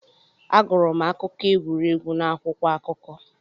Agụrụ m akụkọ egwuregwu n'akwụkwọ akụkọ.